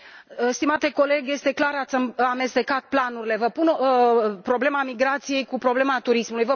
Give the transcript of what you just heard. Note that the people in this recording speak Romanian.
Stimate coleg, este clar, ați amestecat planurile problema migrației cu problema turismului.